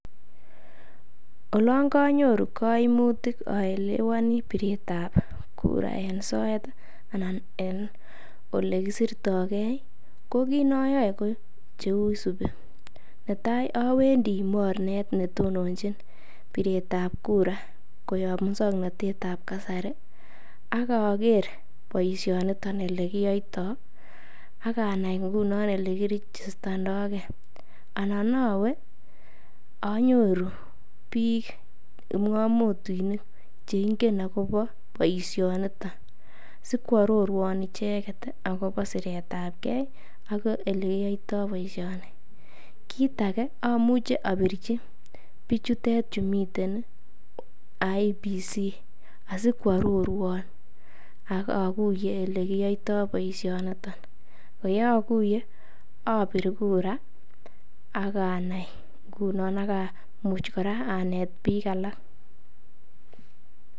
olon konyoru koimutik oelewonii bireet ab kura en soet anan olekisirtgee ko kiit noyoe ko cheisubi, netaai owendii morneet netononchin bireet ab kura koyoob muswoknotet ab kasari ak ogeer boishoniton elegiyoitoo aganai ingunon elekirigistonogee, anan owee onyoru biik mwomutinik cheingen agobo boishoniton sikwororwoon icheget agobo sireet ab gee ak olegiyoitoo boishoni, kiit age omuche obirchi bichutet chemiten iih Independent Electoral and Boundary Commission asikwororwoon ogoguye elegiyoitoo boishoniton, yeoguye obiir kura ak anai nguno ak amuuch koraa aneet biik alak.